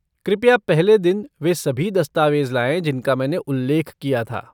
कृपया पहले दिन वे सभी दस्तावेज़ लाएँ जिनका मैंने उल्लेख किया था।